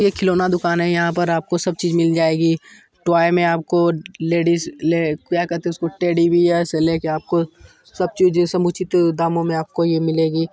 एक खिलौना दुकान है यहां पर आपको सब चीज मिल जाएगी टॉय में आपको लेडीज ले क्या कहते है उसको टेडी बियर से ले के आपको सब चीज समुचित दामों में आपको यहां मिलेगी।